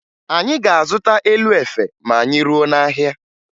Anyị ga-azụta elu efe ma anyị ruo n'ahịa